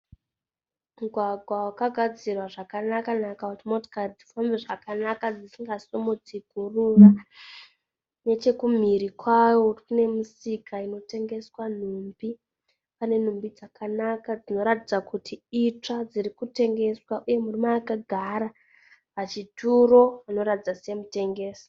Mugwagwa wagadzirwa zvakanakanaka kuti mota dzifambe dzisingasimidze huruva. Nechokuminhiri kwawo kune misika inotengeswa nhumbi. Pane nhumbi dzakanaka dzinoratidza kuti itsva dzirikutengeswa. Uye murume akagara pachituro anoratidza semutengesi.